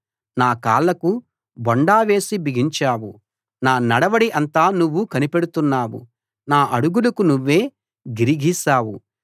నా కాళ్ళకు బొండ వేసి బిగించావు నా నడవడి అంతా నువ్వు కనిపెడుతున్నావు నా అడుగులకు నువ్వే గిరి గీశావు